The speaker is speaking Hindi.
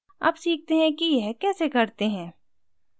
अब सीखते हैं कि यह कैसे करते हैं